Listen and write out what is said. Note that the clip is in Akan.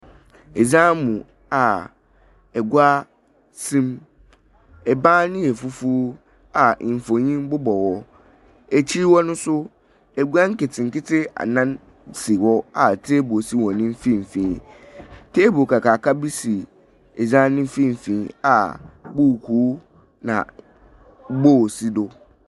Edzan mu a egua siim. Ebaan no yɛ fufuuw a mfonyin bobɔ hɔ. Ekyir hɔ no nso egua nketseketse anan si hɔ a teebol si wɔn mfimfini. Teebol kakraka bi si edzan no mfimfini a buuku na bool si do.